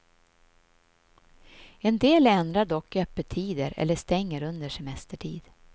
En del ändrar dock öppettider eller stänger under semestertid.